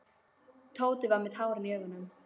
Tóti var með tárin í augunum.